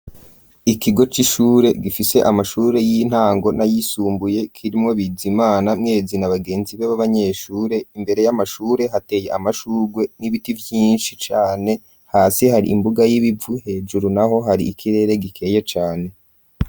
Ikigo c'ishure gifishe amashure y'intango n'ayisumbuye, kirimwo Bizimana, Mwezi na bagenzi be b'abanyeshure, imbere y'amashure hateye amashugwe n'ibiti vyinshi cane, hasi hari imbuga y'ibivu, hejuru naho hari ikirere gikeye cane.